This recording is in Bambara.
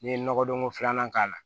N'i ye nɔgɔdon ko filanan k'a la